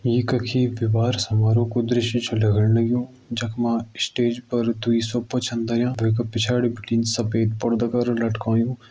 ई कखि विवाह समारोह को दृश्य छ लगण लग्युं जख मा स्टेज पर दुई सोफा छन धर्यां वै का पिछाड़ी बिटिन सफ़ेद पर्दा करा लटकायुं।